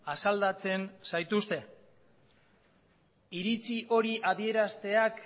asaldatzen zaituzte iritzi hori adierazteak